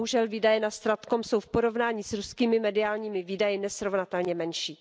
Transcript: Bohužel výdaje na StratCom jsou v porovnání s ruskými mediálními výdaji nesrovnatelně menší.